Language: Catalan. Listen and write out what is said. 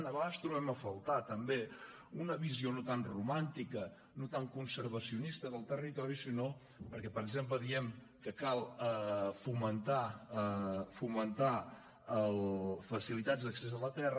a vegades trobem a faltar també una visió no tant romàntica no tant conservacionista del territori sinó perquè per exemple diem que cal fomentar facilitats a l’accés a la terra